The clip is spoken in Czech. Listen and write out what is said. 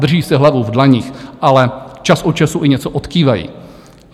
Drží si hlavu v dlaních, ale čas od času i něco odkývají.